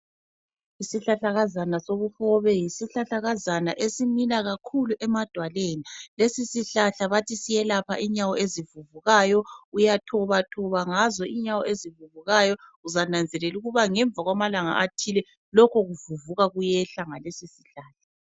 Isihlahlakazana sobuhobe, yisihlahlakazana esimila kakhulu emadwaleni. Lesi sihlahla bathi siyelapha inyawo ezivuvukayo. Uyathobathoba ngazo inyawo ezivuvukayo, uzananzelela ukuba ngemva kwamalanga athile lokho kuvuvuka kuyehla ngalesi sihlahla.